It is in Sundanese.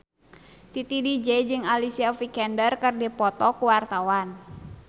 Titi DJ jeung Alicia Vikander keur dipoto ku wartawan